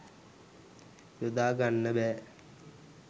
යොදා ගන්න බෑ.